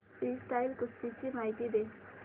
freestyle कुस्ती ची माहिती दे